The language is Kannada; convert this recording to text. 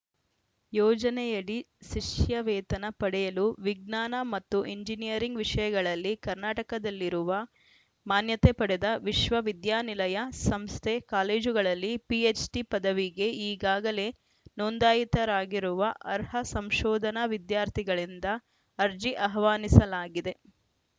ಯೋಜನೆಯಡಿ ಶಿಷ್ಯವೇತನ ಪಡೆಯಲು ವಿಜ್ಞಾನ ಮತ್ತು ಇಂಜಿನಿಯರಿಂಗ್‌ ವಿಷಯಗಳಲ್ಲಿ ಕರ್ನಾಟಕದಲ್ಲಿರುವ ಮಾನ್ಯತೆ ಪಡೆದ ವಿಶ್ವವಿದ್ಯಾನಿಲಯ ಸಂಸ್ಥೆ ಕಾಲೇಜುಗಳಲ್ಲಿ ಪಿಎಚ್‌ಡಿ ಪದವಿಗೆ ಈಗಾಗಲೇ ನೋಂದಾಯಿತರಾಗಿರುವ ಅರ್ಹ ಸಂಶೋಧನಾ ವಿದ್ಯಾರ್ಥಿಗಳಿಂದ ಅರ್ಜಿ ಆಹ್ವಾನಿಸಲಾಗಿದೆ